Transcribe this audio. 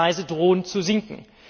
Die Preise drohen zu sinken.